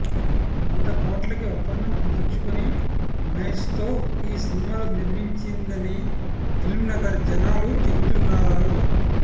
వంద కోట్లకి ఒప్పందం కుదుర్చుకొని మహేష్తో ఈ సినిమాలు నిర్మించిందని ఫిల్మ్నగర్ జనాలు చెబుతుంటారు